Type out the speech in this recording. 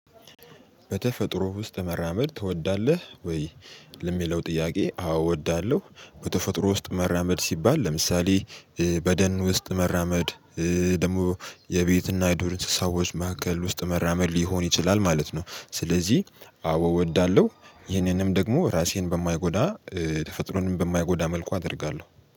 በተፈጥሮ ውስጥ መራመድ ትወዳለህ ወይ? ለሚለው ጥያቄ አዎ እወዳለሁ በተፈጥሮ ውስጥ መራመድ ሲባል ለምሳሌ በደን ውስጥ መራመድ ደግሞ የቤትና የዱር እሰዎች ማዕከል ውስጥ መራመድ ሊሆን ይችላል ማለት ነው። ስለዚህ አዎ እወዳለሁ። ይሄንንም ደግሞ ራሴን በማይጎዳ ተፈጥሮንም በማይጎዳ መልኩ አደርጋለሁ